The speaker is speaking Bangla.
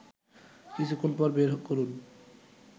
কিছুক্ষণ পর বের করুন